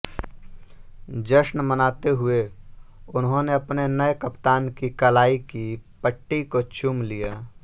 जश्न मनाते हुए उन्होंने अपने नए कप्तान की कलाई की पट्टी को चूम लिया